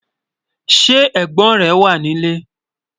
Sẹ́ ẹ̀gbón rẹ̀ wà ni ilẹ̀?